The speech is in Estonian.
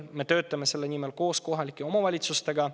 Me töötame koos kohalike omavalitsustega.